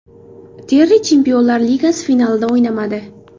Terri Chempionlar Ligasi finalida o‘ynamadi.